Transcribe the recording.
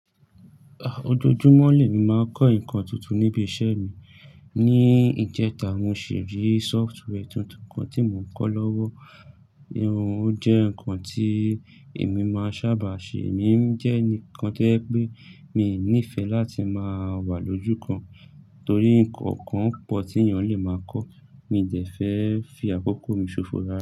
Ojoojúmọ́ lẹ́ mí máa ń kọ́ nǹkan tuntun ní ibi iṣẹ́ mi. Ni ìjẹta, mo ṣì rí sófútwẹ́ tuntun kan tí mo ń kọ́ lọ́wọ́. Irú ó jẹ nǹkan tí èmi máa ń sábà ṣe, èmi ń jẹ́ ẹnìkan tó yẹ pé mi nífẹ láti máa wà lójúkan torí nǹkan kan pọ̀ tí ènìyàn lè máa kọ́. Mi ń dẹ fẹ́ fi àkókò mi ṣòfò.